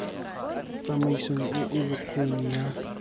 tsamaisong e e bokgoni ya